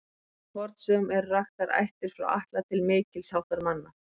Í fornsögum eru raktar ættir frá Atla til mikils háttar manna.